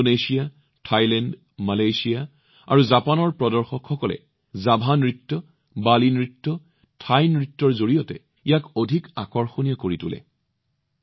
Indonesia Thailand Malaysia আৰু জাপানৰ প্ৰদৰ্শকসকলে জাভা নৃত্য বালি নৃত্য থাই নৃত্যৰ জৰিয়তে ইয়াক অধিক আকৰ্ষণীয় কৰি তোলে